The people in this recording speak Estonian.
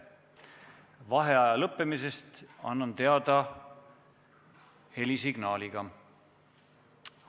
Vaheaja lõppemisest annan teada helisignaaliga.